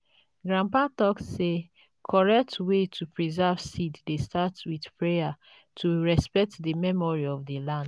grandpa talk say correct way to preserve seed dey start with prayer to respect the memory of the land.